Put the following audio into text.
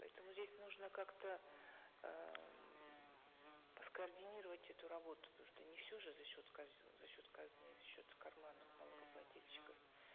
поэтому здесь нужно как то эээ м скоординировать эту работу потому что не все же за счет за счет казны за счет карманов налогоплательщиков